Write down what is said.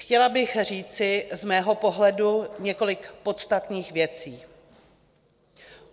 Chtěla bych říci z mého pohledu několik podstatných věcí.